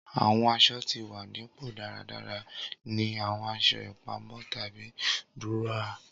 Awọn aṣọ ti wa ni pọ daradara ni awọn aṣọ ipamọ tabi duroa.